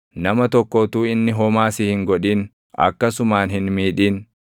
Nama tokko utuu inni homaa si hin godhin akkasumaan hin miidhin.